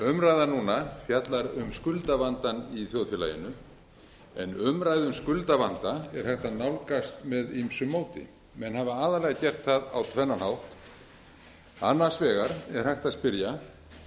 umræðan núna fjallar um skuldavandann í þjóðfélaginu en umræðu um skuldavanda er hægt að nálgast með ýmsu móti menn hafa aðallega gert það á tvennan hátt annars vegar er hægt að spyrja